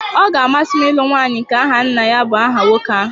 Ọ ga-amasị m ịlụ nwanyị nke aha nna ya bu aha nwoke ahụ